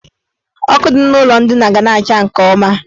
Ọkụ dị n' ụlọ ndina ga na-acha nke ọma.